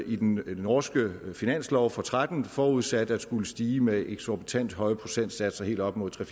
i den norske finanslov for tretten forudsat at skulle stige med eksorbitant høje procentsatser helt op mod tre